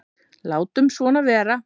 Látum svona vera.